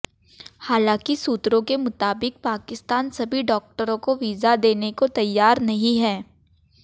हालांकि सूत्रों के मुताबिक पाकिस्तान सभी डॉक्टरों को वीजा देने को तैयार नहीं है